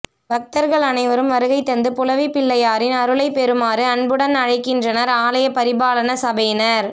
பக்தர்கள் அணைவரும் வருகை தந்து புலவிப்பிள்ளையாரின் அருளை பெருமாறு அன்புடன் அழைக்கின்றனர் ஆலய பரிபாலன சபையினர்